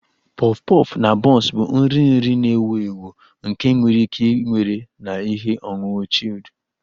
Puff puff na buns bụ nri nri na-ewu ewu nke enwere ike iwere na ihe ọṅụṅụ chilled